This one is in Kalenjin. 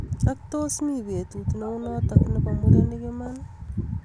Ak tos mi betut neunotok nebo murenik iman.